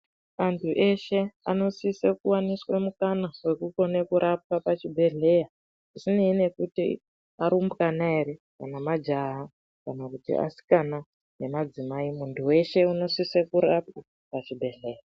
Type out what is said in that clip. Antu eshe anosise kuwaniswe mukana wekukona kurapwa pachibhedhlera azvinei nekuti arumbwana ere kana majaha kana kuti asikana nemadzimai munhu wese unosise kurapwa pachibhedhlera.